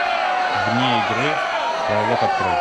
вне игры пролог открой